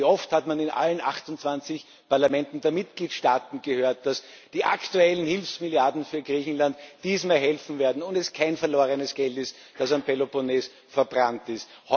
Und wie oft hat man in allen 28 Parlamenten der Mitgliedstaaten gehört, dass die aktuellen Hilfsmilliarden für Griechenland dieses Mal helfen werden und es kein verlorenes Geld ist, das am Peloponnes verbrannt ist.